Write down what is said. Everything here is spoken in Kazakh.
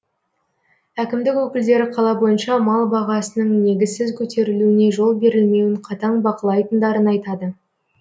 әкімдік өкілдері қала бойынша мал бағасының негізсіз көтерілуіне жол берілмеуін қатаң бақылайтындарын айтады